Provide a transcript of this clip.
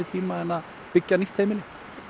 tíma en að byggja nýtt heimili